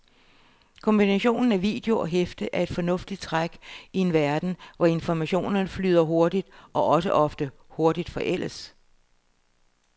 Kombinationen af video og hæfte er et fornuftigt træk i en verden, hvor informationen flyder hurtigt og også ofte hurtigt forældes.